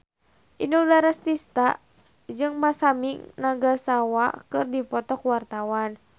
Inul Daratista jeung Masami Nagasawa keur dipoto ku wartawan